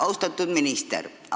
Austatud minister!